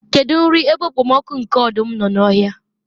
kedu nri ebe okpomọkụ nke ọdụm nọ n'ọhịa?